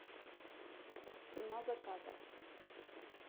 цена заказа